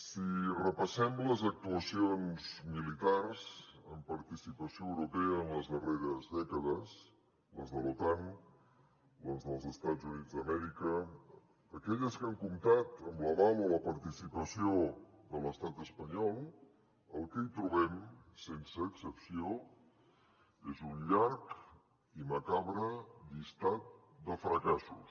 si repassem les actuacions militars amb participació europea en les darreres dècades les de l’otan les dels estats units d’amèrica en aquelles que han comptat amb l’aval o la participació de l’estat espanyol el que hi trobem sense excepció és un llarg i macabre llistat de fracassos